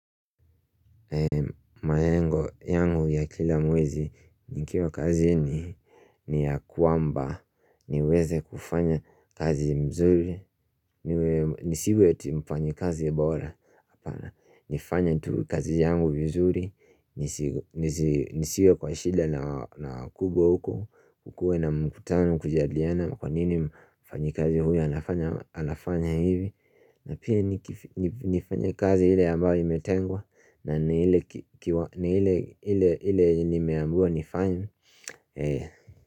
Mayengo yangu ya kila mwezi nikiwa kazi ni ya kwamba niweze kufanya kazi mzuri nisiwe ti mfanyikazi bora, nifanye tu kazi yangu mzuri nisiwe kwa shida na kubwa huko kukue na mkutano kujadiliana kwa nini mfanyikazi huyu anafanya hivi na pia nifanya kazi hile ambayo imetengwa na ni ile enye nimeambiwa faim Eh.